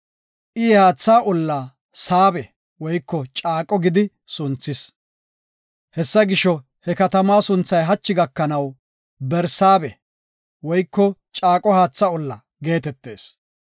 I he haatha olla Saabe (Caaqo) gidi sunthis. Hessa gisho, he katama sunthay hachi gakanaw Barsaabe (Caaqo haatha olla) geetetees.